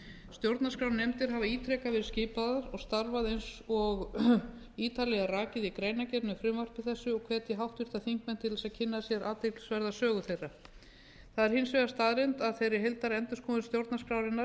stjórnarskrárnefndir hafa ítrekað verið skipaðar og starfað eins og ítarlega er rakið í greinargerð með frumvarpi þessu og hvet ég háttvirta alþingismenn til þess að kynna sér athyglisverða sögu þeirra það er hins vegar staðreynd að þeirri heildarendurskoðun stjórnarskrárinnar